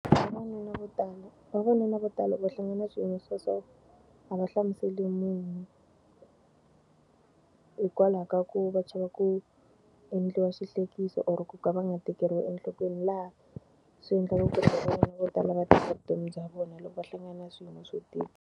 Vavanuna vo tala vavanuna vo tala loko va hlangana swiyimo swa so, a va hlamuseli munhu. Hikwalaho ka ku va chava ku endliwa xihlekiso or ku ka va nga tekeriwi enhlokweni laha swi endla leswaku vavanuna vo tala va teka vutomi bya vona loko va hlangana na swiyimo swo tika.